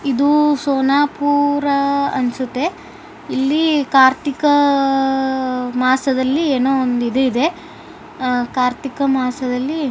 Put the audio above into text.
ಇದು ಸೋನಾಪುರ ಅನ್ಸುತ್ತೆ ಇಲ್ಲಿ ಕಾರ್ತಿಕ ಮಾಸದಲ್ಲಿ ಏನೋ ಒಂದು ಇದು ಇದೆ ಆ ಕಾರ್ತಿಕ ಮಾಸದಲ್ಲಿ --